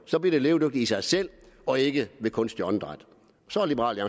så bliver det levedygtigt i sig selv og ikke ved kunstigt åndedræt så er liberal